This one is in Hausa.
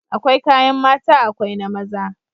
Akwai kayan mata akwai na maza